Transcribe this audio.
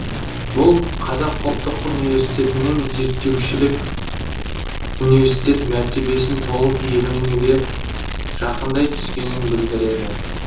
бұл қазақ ұлттық университетінің зерттеушілік университет мәртебесін толық иеленуге жақындай түскенін білдіреді